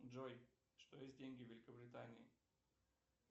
джой что есть деньги в великобритании